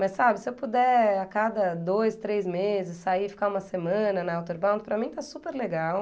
Mas, sabe, se eu puder a cada dois, três meses sair e ficar uma semana na Outerbound, para mim está super legal.